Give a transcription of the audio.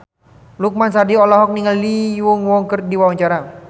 Lukman Sardi olohok ningali Lee Yo Won keur diwawancara